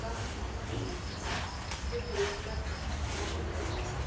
kamanut kot mising kikuren labtop achome kabisa